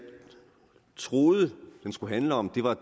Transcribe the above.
troede den skulle handle om var